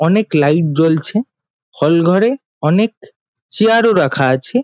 অনেক লাইট জ্বলছে হল ঘরে অনেক চেয়ার -ও রাখা আছে।